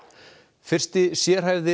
fyrsti sérhæfði